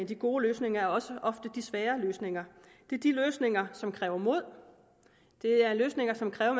de gode løsninger er også ofte de svære løsninger det er de løsninger som kræver mod det er løsninger som kræver